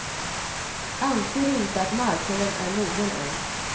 Anser inte att marknaden är mogen än.